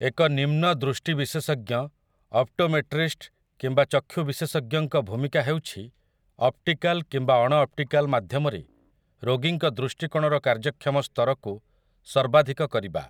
ଏକ ନିମ୍ନ ଦୃଷ୍ଟି ବିଶେଷଜ୍ଞ, ଅପ୍ଟୋମେଟ୍ରିଷ୍ଟ, କିମ୍ବା ଚକ୍ଷୁ ବିଶେଷଜ୍ଞଙ୍କ ଭୂମିକା ହେଉଛି ଅପ୍ଟିକାଲ୍ କିମ୍ବା ଅଣଅପ୍ଟିକାଲ୍ ମାଧ୍ୟମରେ ରୋଗୀଙ୍କ ଦୃଷ୍ଟିକୋଣର କାର୍ଯ୍ୟକ୍ଷମ ସ୍ତରକୁ ସର୍ବାଧିକ କରିବା ।